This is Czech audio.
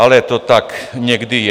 Ale to tak někdy je.